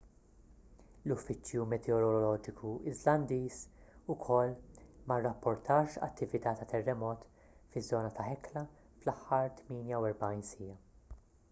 l-uffiċċju meteoroloġiku iżlandiż ukoll ma rrapportax attività ta' terremot fiż-żona ta' hekla fl-aħħar 48 siegħa